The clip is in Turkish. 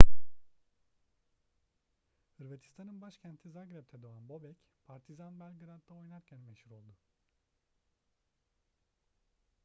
hırvatistan'ın başkenti zagreb'de doğan bobek partizan belgrad'da oynarken meşhur oldu